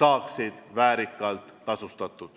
saaksid väärikalt tasustatud.